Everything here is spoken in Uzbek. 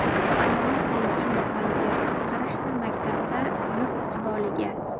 Muallimni qo‘ying endi holiga, Qarashsin maktabda yurt iqboliga...